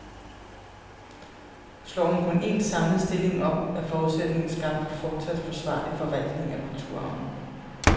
Slår hun kun en, samlet stilling op, er forudsætningen skabt for fortsat forsvarlig forvaltning af kulturarven.